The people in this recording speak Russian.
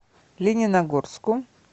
лениногорску